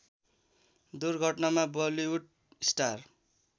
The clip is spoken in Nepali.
दुर्घटनामा बलिउड स्टार